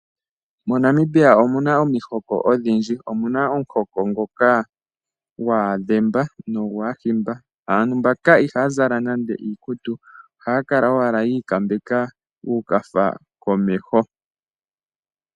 MoNamibia omu na omihoko odhindji. Omu na omuhoko ngoka gwAadhemba nogwAahimba. Aantu mbaka ihaya zala nande iikutu, ohaya kala owala yi ikambeka uukafa komeho.